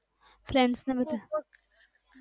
friends બધા